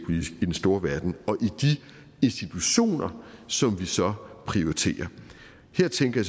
den store verden og i de institutioner som vi så prioriterer her tænker